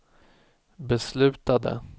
beslutade